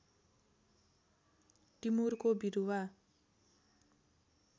टिमुरको बिरुवा